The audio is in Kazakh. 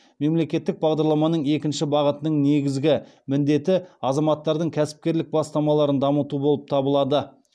мемлекеттік бағдарламаның екінші бағытының негізгі міндеті азаматтардың кәсіпкерлік бастамаларын дамыту болып табылады